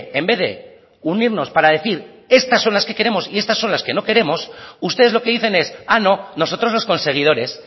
en vez de unirnos para decir estas son las que queremos y estas son las que no queremos ustedes lo que dicen es ah no nosotros los conseguidores